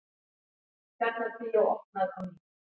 Tjarnarbíó opnað á ný